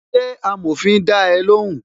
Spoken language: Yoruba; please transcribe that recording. Ṣé amòfin da ẹ lóhùn?